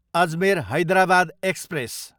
Ajmer, Hyderabad express